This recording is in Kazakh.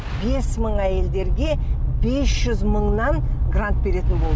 бес мың әйелдерге бес жүз мыңнан грант беретін болды